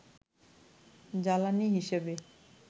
জ্বালানি হিসেবে